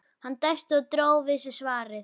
Hann dæsti og dró við sig svarið.